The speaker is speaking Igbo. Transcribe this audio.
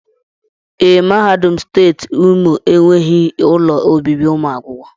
Ee, mahadum steeti Imo enweghị ụlọ obibi ụmụ akwụkwọ